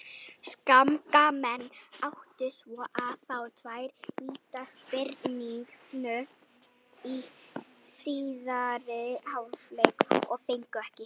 Skagamenn áttu svo að fá tvær vítaspyrnu í síðari hálfleik en fengu ekki.